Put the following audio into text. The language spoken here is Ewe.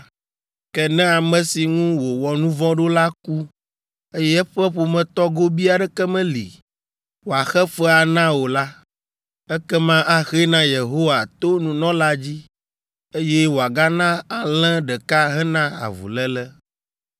Ke ne ame si ŋu wòwɔ nu vɔ̃ ɖo la ku eye eƒe ƒometɔ gobii aɖeke meli wòaxe fea na o la, ekema axee na Yehowa to nunɔla dzi eye wòagana alẽ ɖeka hena avuléle.